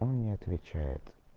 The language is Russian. он не отвечает